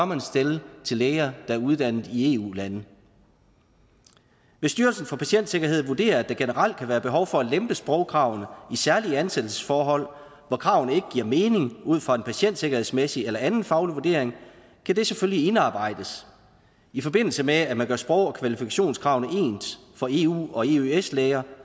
man stille til læger der er uddannet i eu lande hvis styrelsen for patientsikkerhed vurderer at der generelt kan være behov for at lempe sprogkravene i særlige ansættelsesforhold hvor kravene ikke giver mening ud fra en patientsikkerhedsmæssig eller anden faglig vurdering kan det selvfølgelig indarbejdes i forbindelse med at man gør sprog og kvalifikationskravene ens for eu og eøs læger